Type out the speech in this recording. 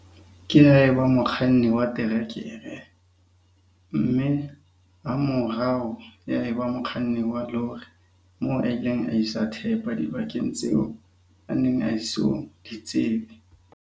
Ke ha e ba mokganni wa terekere, mme hamorao ya eba mokganni wa lori moo a ileng a isa thepa dibakeng tseo a neng a eso di tsebe.